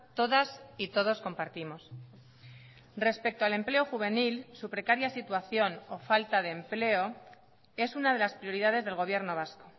todas y todos compartimos respecto al empleo juvenil su precaria situación o falta de empleo es una de las prioridades del gobierno vasco